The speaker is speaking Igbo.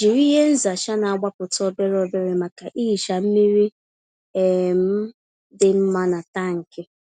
Jiri ihe nzacha na-agbapụta obere obere maka ihicha mmiri um dị mma na tankị.